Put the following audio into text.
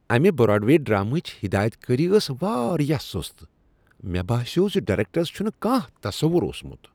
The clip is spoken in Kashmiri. امہ براڈوے ڈراما ہچ ہدایتکاری ٲس وارایاہ سُست۔ مےٚ باسیوٚو ز، ڈایریکٹرس چھُنہ کانہہ تصوُر اوسمت۔